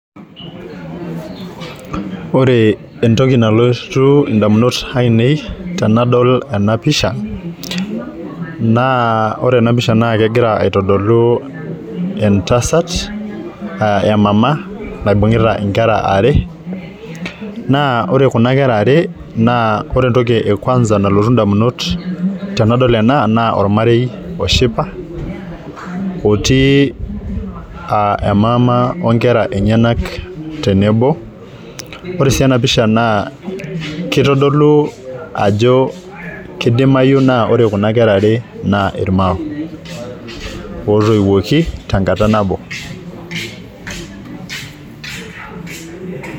Ore entoki nalotu ndamunot ainei tenadol naa ore enapisha naa kegira aitodolu entasat aa emama naibungita nkera are naa ore kuna kera are naa ore entoki kwanza nalotu ndamunot tenadol ena naa ormarei oshipa otii aa emam onkera enyenak tenebo . Ore sii enapisha naa kitodolu ajo kidimayu naa ore kuna kera are naa irmao otoiwuoki tenkata nabo .